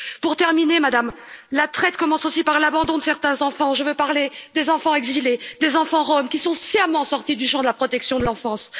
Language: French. Pour terminer, Madame la Commissaire, la traite commence aussi par l'abandon de certains enfants, je veux parler des enfants exilés, des enfants roms, qui sont sciemment sortis du champ de la protection de l'enfance.